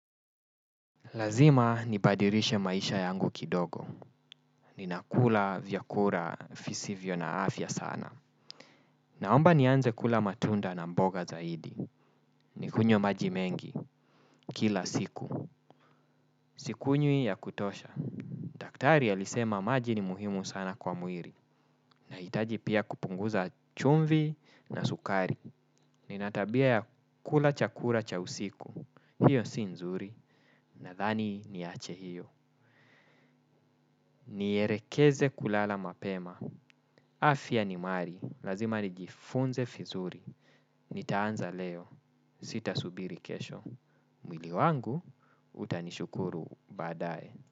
Lazima nibadilishe maisha yangu kidogo. Ninakula vyakula visivyo na afya sana. Naomba nianze kula matunda na mboga zaidi. Nikunywe maji mengi, kila siku. Sikunywi ya kutosha. Daktari alisema maji ni muhimu sana kwa mwili. Na hitaji pia kupunguza chumvi na sukari. Ninatabia ya kula chakula cha usiku. Hio si nzuri. Na dhani niache hiyo. Nielekeze kulala mapema. Afya ni mali. Lazima nijifunze vizuri. Nitaanza leo. Sita subiri kesho. Mwili wangu utanishukuru baadaye.